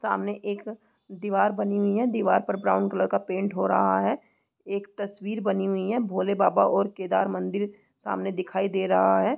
सामने एक दीवार बनी हुई है दीवार पर ब्राउन कलर का पेंट हो रहा है एक तस्वीर बनी हुई है भोले बाबा और केदार मंदिर सामने दिखाई दे रहा है।